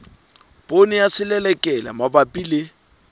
poone ya selelekela mabapi le